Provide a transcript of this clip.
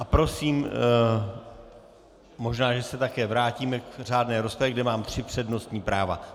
A prosím, možná že se také vrátíme k řádné rozpravě, kde mám tři přednostní práva.